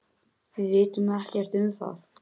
Við vitum ekkert um það.